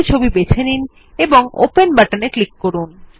একটি ছবি বেছে নিন এবং ওপেন বাটনে ক্লিক করুন